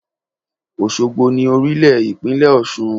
Òsogbo ni orílè ìpínlẹ̀ Òsun